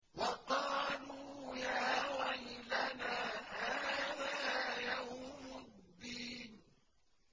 وَقَالُوا يَا وَيْلَنَا هَٰذَا يَوْمُ الدِّينِ